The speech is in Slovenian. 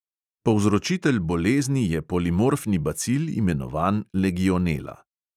Povzročitelj bolezni je polimorfni bacil, imenovan legionela.